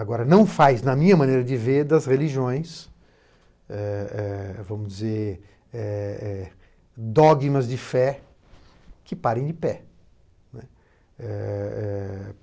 Agora, não faz, na minha maneira de ver, das religiões, é é vamos dizer, é... dogmas de fé, que parem de pé, né, eh eh eh